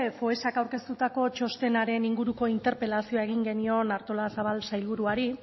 foessak aurkeztutako txostenaren inguruko interpelazioa egin genion artolazabal sailburuari